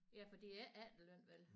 Ja for det er ikke efterløn vel